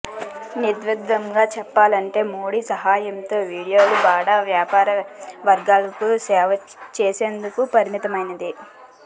నిర్ద్వంద్వంగా చెప్పాలంటే మోడీ హయాంలో మీడియా బడా వ్యాపార వర్గాలకు సేవ చేసేందుకే పరిమితమైంది